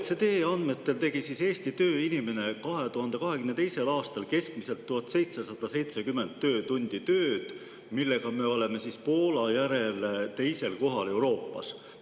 OECD andmetel tegi Eesti tööinimene 2022. aastal keskmiselt 1770 töötunni jagu tööd, millega oleme Poola järel 2. kohal Euroopas.